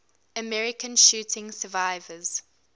american shooting survivors